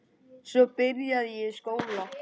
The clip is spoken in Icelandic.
Svo byrjaði ég í skóla.